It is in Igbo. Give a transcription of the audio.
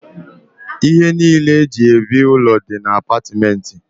Ihe niile eji ebi n'ụlọ dị na apatìmenti.